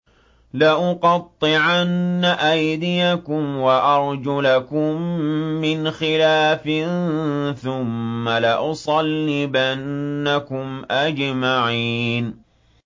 لَأُقَطِّعَنَّ أَيْدِيَكُمْ وَأَرْجُلَكُم مِّنْ خِلَافٍ ثُمَّ لَأُصَلِّبَنَّكُمْ أَجْمَعِينَ